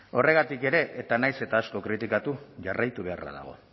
horregatik ere eta nahiz eta asko kritikatu jarraitu beharra dago